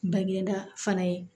Bangeda fana ye